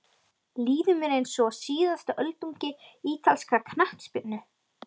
Líður mér eins og síðasta öldungi ítalskrar knattspyrnu?